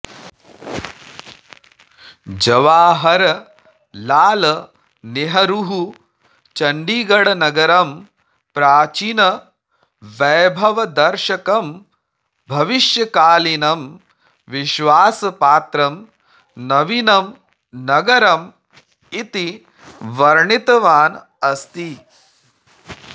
जवाहरलालनेहरुः चण्डीगडनगरं प्राचीनवैभवदर्शकं भविष्यकालीनं विश्वासपात्रं नवीनमनगरम् इति वर्णितवान् अस्ति